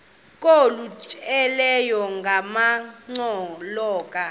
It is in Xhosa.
kolu tyelelo bangancokola